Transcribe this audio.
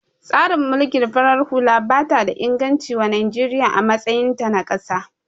Tsarin mulkin farar hula bata da inganci wa Najeriya a matsayin ta na kasa